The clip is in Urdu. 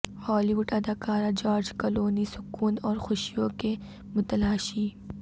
ہالی وڈ اداکار جارج کلونی سکون اور خوشیوں کے متلاشی